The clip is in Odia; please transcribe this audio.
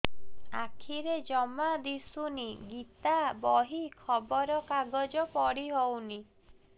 ଆଖିରେ ଜମା ଦୁଶୁନି ଗୀତା ବହି ଖବର କାଗଜ ପଢି ହଉନି